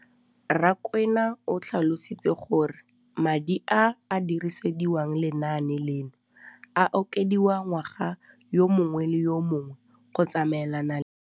Rakwena o tlhalositse gore madi a a dirisediwang lenaane leno a okediwa ngwaga yo mongwe le yo mongwe go tsamaelana le.